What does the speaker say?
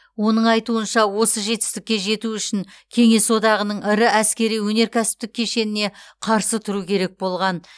оның айтуынша осы жетістікке жету үшін кеңес одағының ірі әскери өнеркәсіптік кешеніне қарсы тұру керек болған